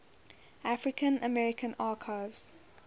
african american archives